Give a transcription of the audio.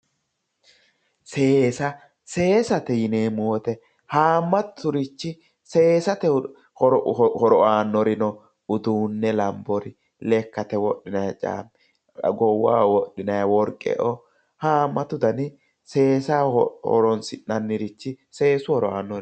Seesa:-seesate yineemmo woyiite haamaturichi seesate horo abannori no uduunne lanbori lekate wodhinanniri goowaho wodhinanni woriqeoo haamattu Dana seessaho horoonsi'nannirichi seessu horo aannoreeti